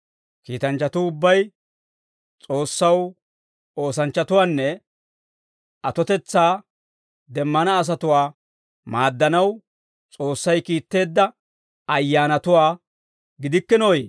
Kiitanchchatuu ubbay S'oossaw ootsanawunne atotetsaa demmana asatuwaa maaddanaw S'oossay kiitteedda ayyaanatuwaa gidikkinooyee?